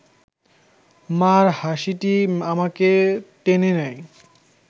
মা’র হাসিটি আমাকে টেনে নেয়